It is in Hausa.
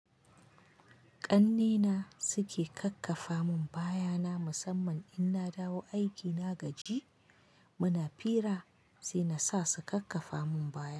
Ƙannena suke kakkafa mun baya na musamman in na dawo aiki na gaji, muna fira sai na sa su kakkafa mun baya.